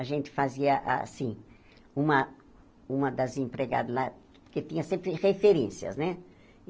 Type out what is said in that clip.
A gente fazia, assim, uma uma das empregadas lá, porque tinha sempre referências, né?